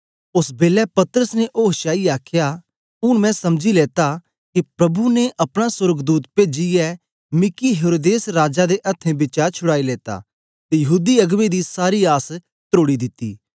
ओस बेलै पतरस ने ओश च आईयै आखया ऊन मैं समझी लेता के प्रभु ने अपना सोर्गदूत पेजीयै मिकी हेरोदेस राजा दे अथ्थें बिचा छुड़ाई लेता ते यहूदी अगबें दी सारी आस त्रोड़ी दिती